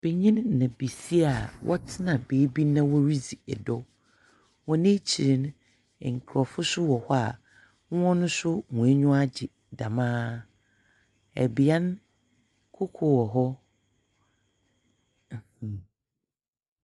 Banyin na basia a wɔtsena beebi na woridzi ɔdɔ, hɔn ekyir no, nkorɔfo so wɔ hɔ a hɔn so hɔn enyiwa agye dɛmara. Bea no, koko wɔ hɔ. Mhmm!.